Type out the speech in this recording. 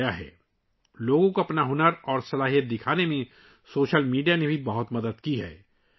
social media نے لوگوں کو ، ان کے ہنر اور صلاحیتوں کو دکھانے میں بھی بہت مدد کی ہے